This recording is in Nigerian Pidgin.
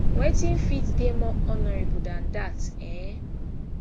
wetin fit dey more honourable dan dat um